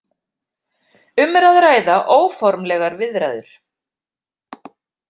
Um er að ræða óformlegar viðræður